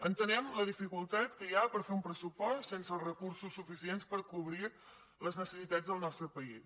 entenem la dificultat que hi ha per fer un pressupost sense els recursos suficients per cobrir les necessitats del nostre país